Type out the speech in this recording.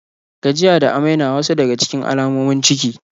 Gajiya da amai na wasu daga cikin alamomin ciki.